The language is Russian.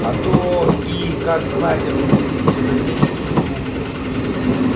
а то и как знать определить его дальнейшую судьбу